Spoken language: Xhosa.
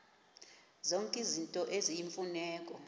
zonke izinto eziyimfuneko